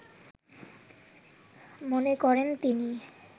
মনেকরেন তিনি